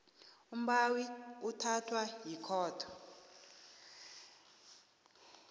umbawi uthathwa yikhotho